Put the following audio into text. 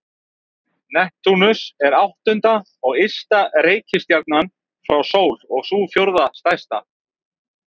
Neptúnus er áttunda og ysta reikistjarnan frá sól og sú fjórða stærsta.